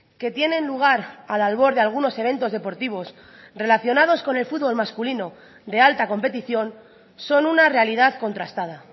que tienen lugar al albor de algunos eventos deportivos relacionados con el fútbol masculino de alta competición son una realidad contrastada